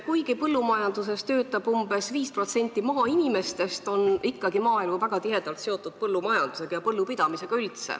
Kuigi põllumajanduses töötab umbes 5% maainimestest, on maaelu ikkagi väga tihedalt seotud põllumajandusega ja põllupidamisega üldse.